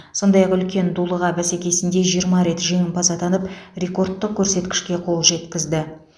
сондай ақ үлкен дулыға бәсекесінде жиырма рет жеңімпаз атанып рекордтық көрсеткішке қол жеткізді